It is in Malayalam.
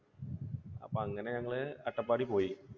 അപ്പോ അങ്ങനെ ഞങ്ങൾ അട്ടപ്പാടിയിൽ പോയി.